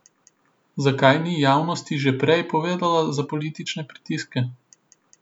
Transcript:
Zakaj ni javnosti že prej povedalo za politične pritiske?